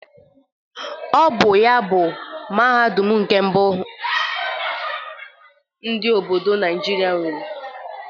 Ọ bụ ya bụ Mahadum nke mbụ ndị obodo Naijiria nwere.